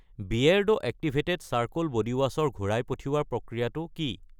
বিয়েৰ্ডো activated charcoal বডিৱাছ ৰ ঘূৰাই পঠিওৱাৰ প্ৰক্ৰিয়াটো কি?